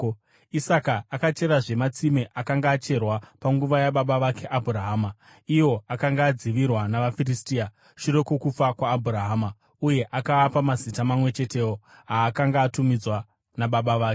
Isaka akacherazve matsime akanga acherwa panguva yababa vake Abhurahama, iwo akanga adzivirwa navaFiristia shure kwokufa kwaAbhurahama, uye akaapa mazita mamwe chetewo aakanga atumidzwa nababa vake.